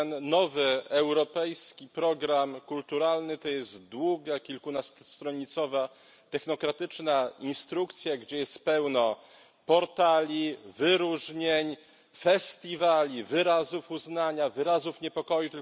Ten nowy europejski program kulturalny to jest długa, kilkunastostronicowa technokratyczna instrukcja, gdzie jest pełno portali, wyróżnień, festiwali, wyrazów uznania, wyrazów niepokoju.